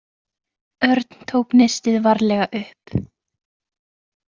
Örn tók nistið varlega upp.